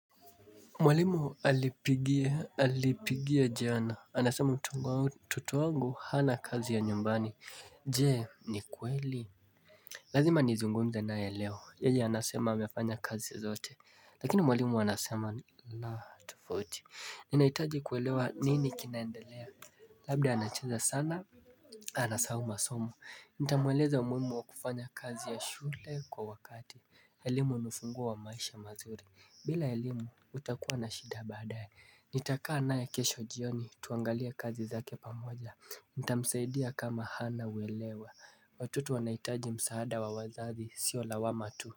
Mwalimu alipigia jana, anasema mtoto wangu hana kazi ya nyumbani Jee ni kweli Lazima nizungumze naye leo, yeye anasema amefanya kazi zote, lakini mwalimu anasema la tofsuti, ninaitaji kuelewa nini kinaendelea Labda anacheza sana, anasahau masomo, nitamweleza umuhimu wa kufanya kazi ya shule kwa wakati elimu ni ufunguo wa maisha mazuri bila elimu utakuwa na shida baadaye Nitakaa naye kesho jioni tuangalie kazi zake pamoja Ntamsaidia kama hana uelewa Watoto wanahitaji msaada wa wazazi sio lawama tu.